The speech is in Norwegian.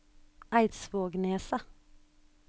Eidsvågneset